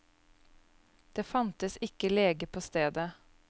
Det fantes ikke lege på stedet.